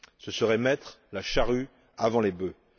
Ce serait mettre la charrue avant les bœufs.